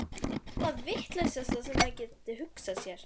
Það er nú það vitlausasta sem maður gæti hugsað sér.